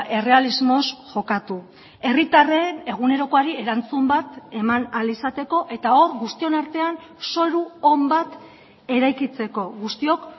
errealismoz jokatu herritarren egunerokoari erantzun bat eman ahal izateko eta hor guztion artean zoru on bat eraikitzeko guztiok